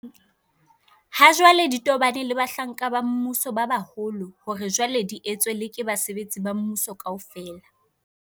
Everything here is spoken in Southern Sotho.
Ha jwale di tobaneng le bahlanka ba mmuso ba baholo hore jwale di etswe le ke basebetsi ba mmuso kaofela.